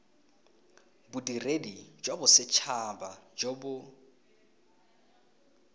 bodiredi jwa bosethaba jo bo